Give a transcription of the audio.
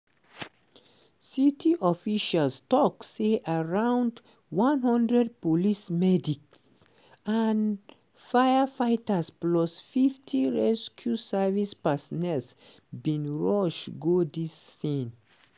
city officials tok say around one hundred police medics and firefighters plus 50 rescue service personnel bin rush go di scene.